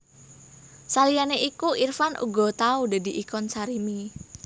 Saliyane iku Irfan uga tau dadi ikon Sarimi